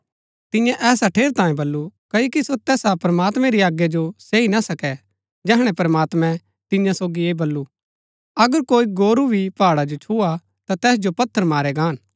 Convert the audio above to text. तिन्यै ऐसा ठेरैतांये बल्लू क्ओकि सो तैसा प्रमात्मैं री आज्ञा जो सैई ना सकै जैहणै प्रमात्मैं तिन्या सोगी ऐह बल्लू अगर कोई गोरू भी पहाड़ा जो छुआ ता तैस जो पत्थर मारै गाहन